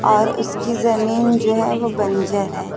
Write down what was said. और उसकी जमीन जो हैं वो बंजर है।